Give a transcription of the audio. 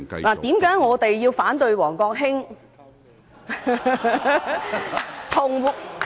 為何我們要反對王國興......